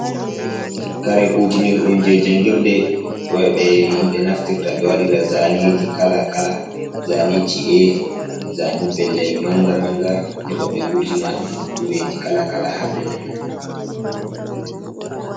Kare kutinirɗum je jangirde ɓe himɓe naftirta ɓe waɗira zaneji kala-kala. Zaneji ci'e, zane pelle manga-manga, heɓa ɓe wurtina nokureji kala-kala ha pellel man.